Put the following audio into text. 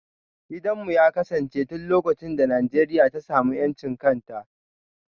Gidanmu ya kasance tun lokacin da Najeriya ta samu 'yancin kan ta.